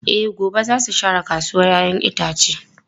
E, gobe za su share kasuwar ‘ya’yan itace.